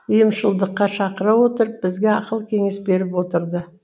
ұйымшылдыққа шақыра отырып бізге ақыл кеңес беріп отырды